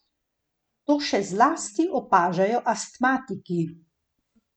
To še zlasti opažajo astmatiki.